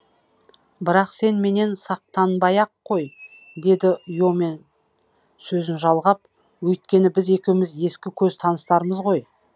бірақ сен менен сақтанбай ақ қой деді йомен сөзін жалғап өйткені біз екеуміз ескі көз таныстармыз ғой